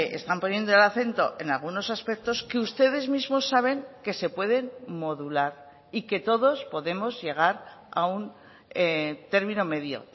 están poniendo el acento en algunos aspectos que ustedes mismos saben que se pueden modular y que todos podemos llegar a un término medio